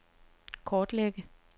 kortlægge